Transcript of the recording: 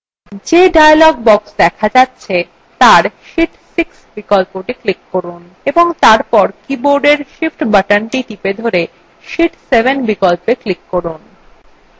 যে dialog box দেখা যাচ্ছে তার sheet 6 বিকল্পটি click করুন এবং তারপর বোর্ডের উপরে অবস্থিত shift বাটনটি চেপে ধরে sheet 7 বিকল্পে এ click করুন